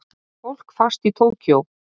Fólk fast í Tókýó